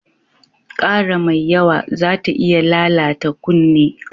Ƙara mai yawa zata iya lalata kunne.